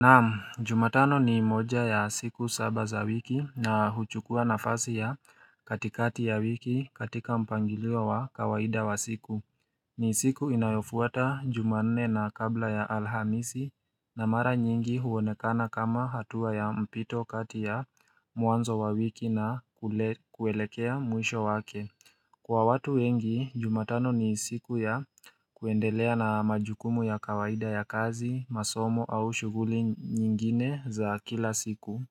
Naam jumatano ni moja ya siku saba za wiki na huchukua nafasi ya katikati ya wiki katika mpangilio wa kawaida wa siku ni siku inayofuata jumanne na kabla ya alhamisi na mara nyingi huonekana kama hatua ya mpito kati ya mwanzo wa wiki na kuelekea mwisho wake Kwa watu wengi, jumatano ni siku ya kuendelea na majukumu ya kawaida ya kazi, masomo au shughuli nyingine za kila siku.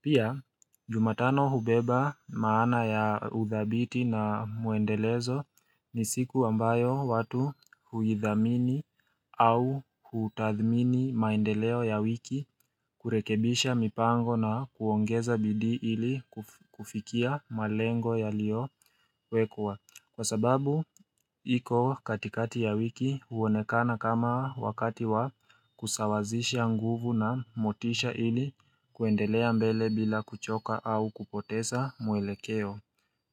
Pia jumatano hubeba maana ya uthabiti na muendelezo ni siku ambayo watu huithamini au hutadhmini maendeleo ya wiki kurekebisha mipango na kuongeza bidii ili kufikia malengo yaliowekwa. Kwa sababu, iko katikati ya wiki huonekana kama wakati wa kusawazisha nguvu na motisha ili kuendelea mbele bila kuchoka au kupotesa mwelekeo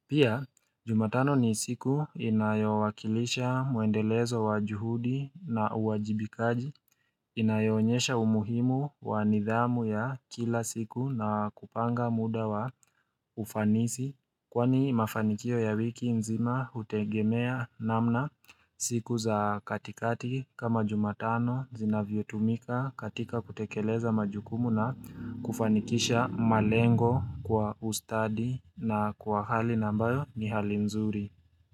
Pia jumatano ni siku inayowakilisha muendelezo wa juhudi na uwajibikaji inayionyesha umuhimu wa nidhamu ya kila siku na kupanga muda wa ufanisi Kwani mafanikio ya wiki nzima hutegemea namna siku za katikati kama jumatano zinavyotumika katika kutekeleza majukumu na kufanikisha malengo kwa ustadi na kwa hali na ambayo ni hali nzuri.